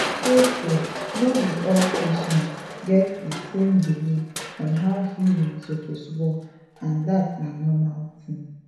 true true no be all patients get di same belief on how healing suppose work and dat na normal thing